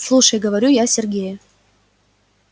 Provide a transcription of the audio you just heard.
слушай говорю я сергею